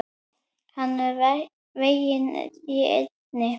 Hann var veginn í eynni.